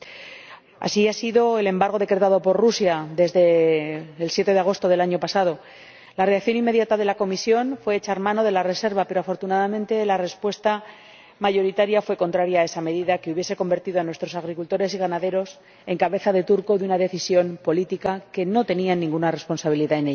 Así ocurrió con el embargo decretado por Rusia, desde el 7 de agosto del año pasado. La reacción inmediata de la Comisión fue echar mano de la reserva, pero afortunadamente la respuesta mayoritaria fue contraria a esa medida, que hubiese convertido a nuestros agricultores y ganaderos en cabeza de turco de una decisión política de la que no tenían ninguna responsabilidad.